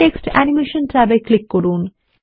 text animation ট্যাবে click করুন